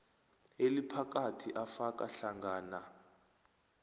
eliphakathi afaka hlangana